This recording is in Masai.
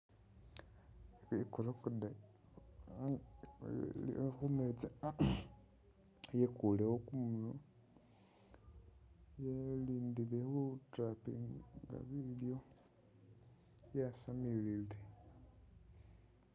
I'crocodile iliwo khumeetsi yekulewo kumunywa yalindile khu'tappinga bilyo, yasamilile